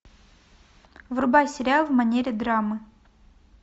врубай сериал в манере драмы